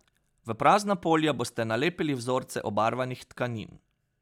V prazna polja boste nalepili vzorce obarvanih tkanin.